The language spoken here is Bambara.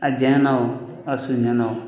A janyana o a surunyana